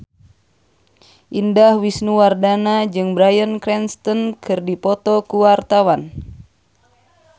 Indah Wisnuwardana jeung Bryan Cranston keur dipoto ku wartawan